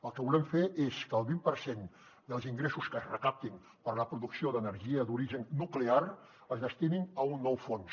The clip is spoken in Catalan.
el que volem fer és que el vint per cent dels ingressos que es recaptin per a la producció d’energia d’origen nuclear es destinin a un nou fons